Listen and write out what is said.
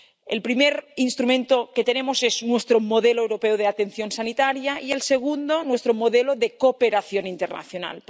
El primer instrumento que tenemos es nuestro modelo europeo de atención sanitaria y el segundo, nuestro modelo de cooperación internacional.